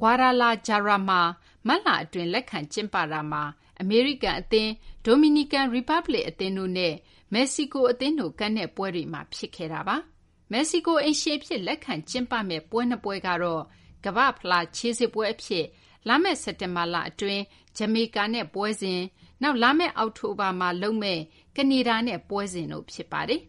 Guadalajara မှာ မတ်လအတွင်း လက်ခံကျင်းပတာမှာ အမေရိကန်အသင်း၊ Dominican Republic အသင်းတို့နဲ့ မက္ကဆီကိုအသင်းတို့ ကန်တဲ့ပွဲတွေမှာ ဖြစ်ခဲ့တာပါ။ မက္ကဆီကို အိမ်ရှင်အဖြစ် လက်ခံကျင်းပမယ့် ပွဲ၂ ပွဲကတော့ ကမ္ဘာ့ဖလား ခြေစစ်ပွဲအဖြစ် လာမယ့် စက်တင်ဘာလအတွင်း ဂျမေကာနဲ့ပွဲစဉ်၊ နောက် လာမယ့် အောက်တိုဘာမှာ လုပ်မယ့် ကနေဒါနဲ့ပွဲစဉ်တို့ ဖြစ်ပါတယ်